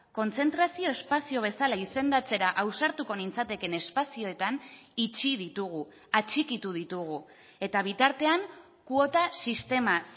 kontzentrazio espazio bezala izendatzera ausartuko nintzatekeen espazioetan itxi ditugu atxikitu ditugu eta bitartean kuota sistema